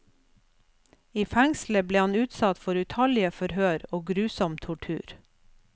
I fengslet ble han utsatt for utallige forhør og grusom tortur.